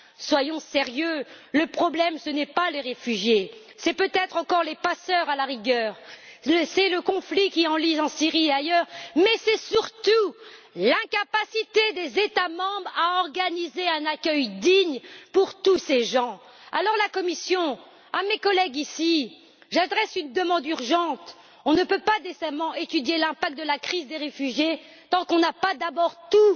Soyons sérieux, le problème, ce n'est pas les réfugiés, c'est peut être encore les passeurs, à la rigueur c'est le conflit qui s'enlise en Syrie et ailleurs, et c'est surtout l'incapacité des États membres à organiser un accueil digne pour tous ces gens. Alors, à la Commission et à mes collègues ici, j'adresse une demande urgente on ne peut pas décemment étudier l'impact de la crise des réfugiés tant qu'on n'a pas d'abord tout